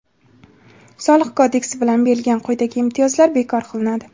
Soliq kodeksi bilan berilgan quyidagi imtiyozlar bekor qilinadi.